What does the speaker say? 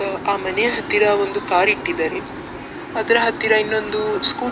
ಆ ಮನೆಯ ಹತ್ತಿರ ಒಂದು ಕಾರ್‌ ಇಟ್ಟಿದ್ದಾರೆ ಅದರ ಹತ್ತಿರ ಇನ್ನೊಂದು ಸ್ಕೂ --